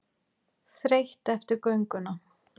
Þreytt eftir gönguna.